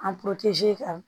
ka